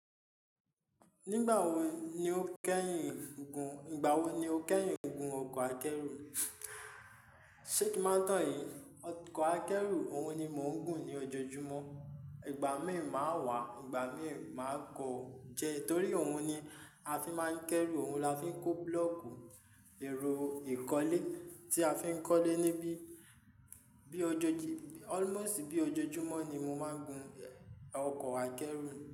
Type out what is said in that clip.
Nígbà wo ni o kẹ́yin gun, ìgbà wo ni o kẹ́yin gun ọkọ̀ akẹ́rù? Sé kí má tàn yín, ọkọ̀ akẹ́rù òun ni mò ń gùn ní ojoojúmọ́. Ìgbà míì má wà, ìgbà míì má kọ jẹ, torí òun ni a fi má ń kẹ́rù, òun la fi ń kó búlọ́ọ̀kù, èrò ìkọ́lẹ, tí a fi ń kọ́lẹ níbí. Bí ojoojú-- almost bí ojoojúmọ́ ni mo má ń gun ọkọ̀ akẹ́rù.